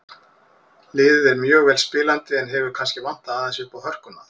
Liðið er mjög vel spilandi en hefur kannski vantað aðeins uppá hörkuna.